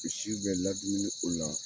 Misi bɛ ladumuni o la.